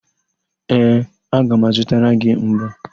Ee, aga m azụtara gị mbọ.